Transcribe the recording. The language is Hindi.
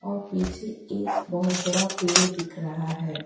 और पीछे एक बहोत बड़ा पेड़ दिख रहा है।